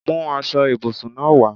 Mú aṣọ ibùsùn náà wá!